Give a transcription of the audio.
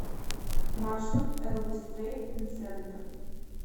маршрут элвис трейд ин центр